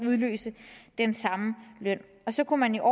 udløse den samme løn og så kunne man jo